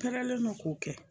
Kɛlɛlen don k'o kɛ